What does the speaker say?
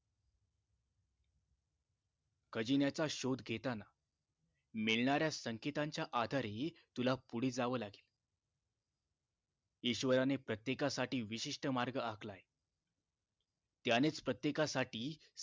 खजिन्याचा शोध घेताना मिळणार्‍या संकेताच्या आधारे तुला पुढ जाव लागेल ईश्वराने प्रत्तेकासाठी विशिष्ट मार्ग आकलाय त्यानेच प्रतेकासाठी